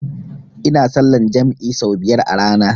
Ina sallan jam'i sau biyar a rana